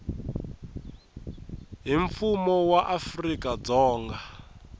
hi mfumo wa afrika dzonga